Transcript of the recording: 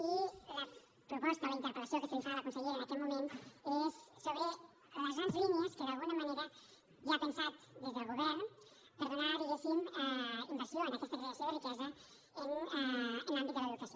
i la proposta o la interpel·lació que se li fa a la consellera en aquest moment és sobre les grans línies que d’alguna manera ja ha pensat des del govern per donar diguéssim inversió en aquesta creació de riquesa en l’àmbit de l’educació